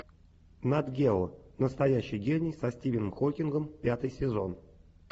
нат гео настоящий гений со стивеном хокингом пятый сезон